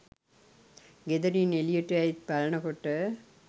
ගෙදරින් එළියට ඇවිත් බලනකොට